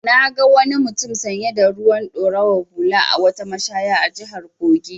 I na wani mutum sanye da ruwan ɗorawar hula a wata mashaya a jihar Kogi.